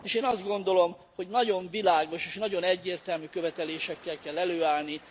És én azt gondolom, hogy nagyon világos és nagyon egyértelmű követelésekkel kell előállni.